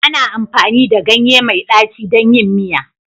Ana amfani da ganye mai ɗaci don yin miya